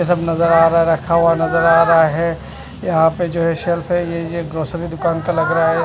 यह सब नजर आ रहा है रखा हुआ नजर आ रहा है यहां पर जो है सेल्फ है यह ग्रोसरी दुकान का लग रहा है।